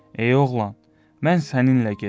Ey oğlan, mən səninlə gedirəm.